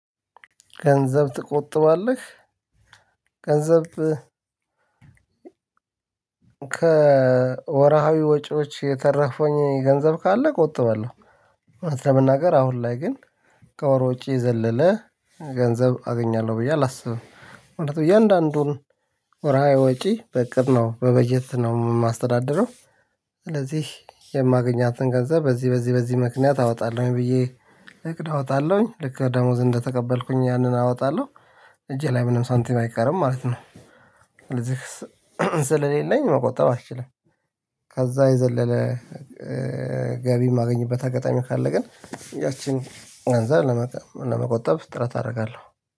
ገንዘብ ትቆጥባለህ? ገንዘብ ከወርሃዊ ወጪዎች የተረፈኝ ገንዘብ ካለ እቆጥባለሁ። እውነት ለመናገር አሁን ላይ ግን ከወር ወጪ የዘለለ ገንዘብ አገኛለሁ ብዬ አላስብም ማለት ነው። እያንዳንዱን ወርሃዊ ወጪ በእቅድ ነው በበጀት ነው የማስተዳድረው። ስለዚህ የማገኛትን ገንዘብ በዚህ በዚህ በዚህ ምክንያት አወጣለሁኝ ብዬ እቅድ አወጣለሁኝ። ልክ ደሞዝ እንደተቀበልኩኝ ያንን አወጣለሁ እጄ ላይ ምንም ሳንቲም አይቀርም ማለት ነው። ስለዚህ ስለሌለኝ መቆጠብ አልችልም። ከዛ የዘለለ ገቢ የማገኝበት አጋጣሚው ካለ ግን ያቺን እንደዛ ለመቆጠብ ጥረት አረጋለሁ።